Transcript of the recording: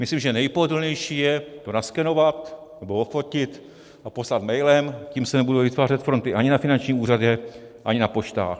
Myslím, že nejpohodlnější je to naskenovat nebo ofotit a poslat mailem, tím se nebudou vytvářet fronty ani na finančním úřadě, ani na poštách.